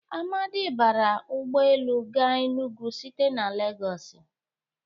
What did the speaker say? Amadị bara ụgbọ elu ga Enụgwụ site na Legọs